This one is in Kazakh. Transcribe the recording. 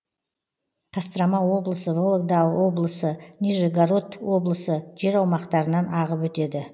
кострома облысы вологда облысы нижегород облысы жер аумақтарынан ағып өтеді